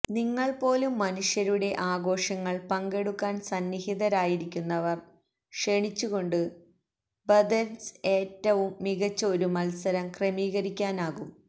നിങ്ങൾ പോലും മനുഷ്യരുടെ ആഘോഷങ്ങൾ പങ്കെടുക്കാൻ സന്നിഹിതരായിരിക്കുന്നവർ ക്ഷണിച്ചുകൊണ്ട് ബഥെര്സ് ഏറ്റവും മികച്ച ഒരു മത്സരം ക്രമീകരിക്കാനാകും